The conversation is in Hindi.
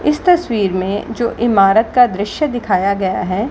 इस तस्वीर में जो इमारत का दृश्य दिखाया गया है।